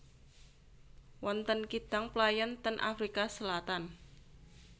Wonten kidang playon ten Afrika Selatan